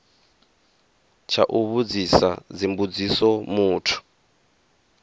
tsha u vhudzisa dzimbudziso muthu